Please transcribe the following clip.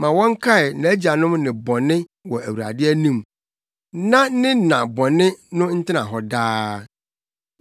Ma wɔnkae nʼagyanom nnebɔne wɔ Awurade anim; na ne na bɔne no ntena hɔ daa.